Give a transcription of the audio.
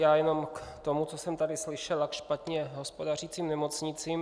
Já jenom k tomu, co jsem tady slyšel, a k špatně hospodařícím nemocnicím.